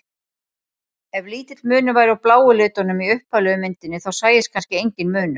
Ef lítill munur væri á bláu litunum í upphaflegu myndinni þá sæist kannski enginn munur.